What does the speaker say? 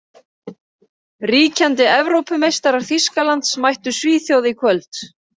Ríkjandi Evrópumeistarar Þýskalands mættu Svíþjóð í kvöld.